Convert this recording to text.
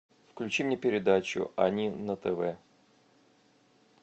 включи мне передачу они на тв